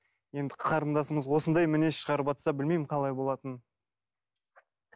енді қарындасымыз осындай мінез шығарыватса білмеймін қалай болатынын